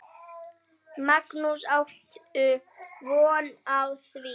Magnús: Áttu von á því?